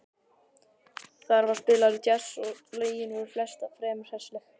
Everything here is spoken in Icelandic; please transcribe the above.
Þar var spilaður djass og lögin voru flest fremur hressileg.